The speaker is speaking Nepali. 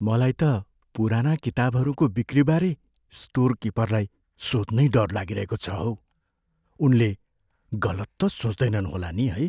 मलाई त पुराना किताबहरूको बिक्रीबारे स्टोर किपरलाई सोध्नै डर लागिरहेको छ हौ। उनले गलत त सोच्दैनन् होला नि, है?